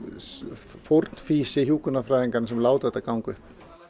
fórnfýsi hjúkrunarfræðinganna sem lætur þetta ganga upp